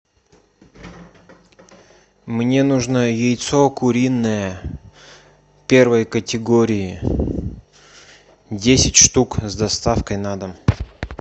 мне нужно яйцо куриное первой категории десять штук с доставкой на дом